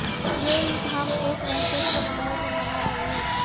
یہ عید ہم ایک وحشت کے ماحول میں منا رہے ہیں